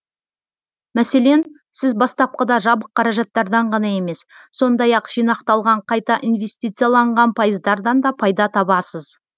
мәселен сіз бастапқыда жабық қаражаттардан ғана емес сондай ақ жинақталған қайта инвестицияланған пайыздардан да пайда табасыз